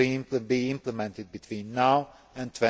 to be implemented between now and